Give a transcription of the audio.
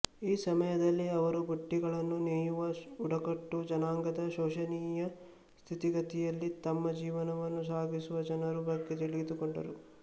ಈ ಸಮಯದಲ್ಲಿ ಅವರು ಬುಟ್ಟಿಗಳನ್ನು ನೇಯುವ ಬುಡಕಟ್ಟು ಜನಾಂಗದ ಶೋಚನೀಯ ಸ್ಥಿತಿಗಯಲ್ಲಿ ತಮ್ಮ ಜೀವನವನ್ನು ಸಾಗಿಸುವ ಜನರ ಬಗ್ಗೆ ತಿಳಿದುಕೊಂಡರು